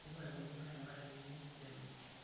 Eidipa aikurukurie engari keyieu nelo.